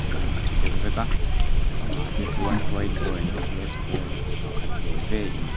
a in ang deuh vek a bangah te chuan white board leh blackboard pakhat ve ve in--